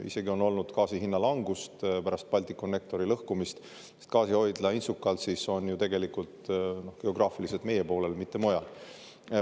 Isegi on olnud gaasi hinna langust pärast Balticconnectori lõhkumist, sest gaasihoidla Inčukalnsis on ju tegelikult geograafiliselt meie poolel, mitte mujal.